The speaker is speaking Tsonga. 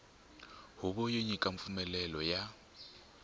huvo yo nyika mpfumelelo ya